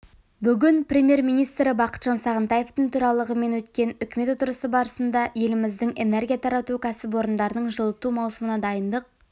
бүгін премьер-министрі бақытжан сағынтаевтың төрағалығымен өткен үкімет отырысы барысында еліміздің энергия тарату кәсіпорындарының жылыту маусымына дайындық